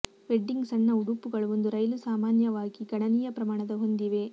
wedding ಸಣ್ಣ ಉಡುಪುಗಳು ಒಂದು ರೈಲು ಸಾಮಾನ್ಯವಾಗಿ ಗಣನೀಯ ಪ್ರಮಾಣದ ಹೊಂದಿವೆ